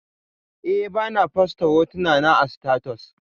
Eh, bana fosta hotunana a status